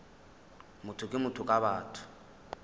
motho ke motho ka batho